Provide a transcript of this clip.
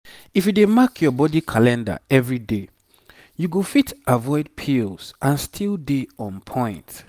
if you dey mark your body calendar every day you go fit avoid pills and still dey on point.